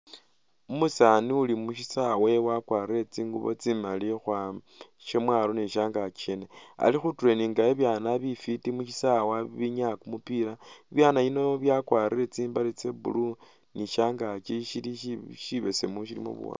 Umusaani uli mu shisawa wakwarire tsingubo tsimali shamwalo ni shangakyi shene ali khu tureyininga bibyaana bifwiti mu shisawa bibinyaya kumupiila, bibyaana bino bya kwarire tsimbale tsa blue ni shangakyi shibesemu shilimo buwaanga.